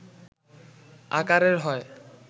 আকারের হয়